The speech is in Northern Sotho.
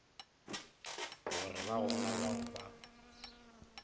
gore ba gona bao ba